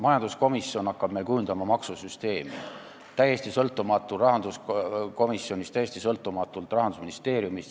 Majanduskomisjon hakkab meil kujundama maksusüsteemi – täiesti sõltumatult rahanduskomisjonist, täiesti sõltumatult Rahandusministeeriumist.